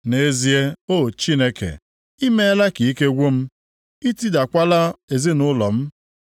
Nʼezie o Chineke, i meela ka ike gwụ m, i tidakwala ezinaụlọ m.